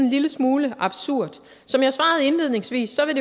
lille smule absurd som jeg svarede indledningsvis vil